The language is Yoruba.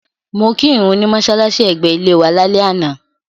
Mo kí ìrun ní mọ́ṣálàṣí ẹ̀gbẹ́ ilé wa lálẹ́ àná.